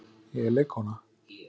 Ég er leikkona.